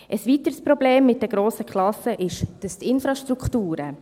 Ein weiteres Problem mit den grossen Klassen ist die Infrastruktur.